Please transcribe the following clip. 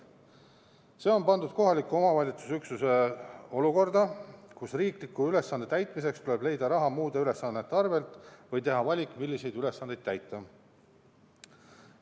See on pannud kohaliku omavalitsuse üksused olukorda, kus riikliku ülesande täitmiseks tuleb leida raha muude ülesannete arvel või teha valik, milliseid ülesandeid täita.